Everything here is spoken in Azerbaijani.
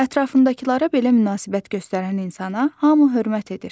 Ətrafındakılara belə münasibət göstərən insana hamı hörmət edir.